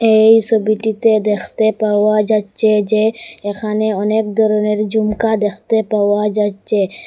এই সবিটিতে দেখতে পাওয়া যাচ্চে যে এখানে অনেক ধরনের জুমকা দেখতে পাওয়া যাচ্চে।